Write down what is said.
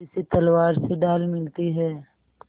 जैसे तलवार से ढाल मिलती है